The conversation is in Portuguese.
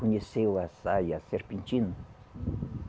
Conheceu a saia serpentina?